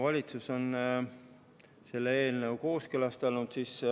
Valitsus on selle eelnõu kooskõlastanud.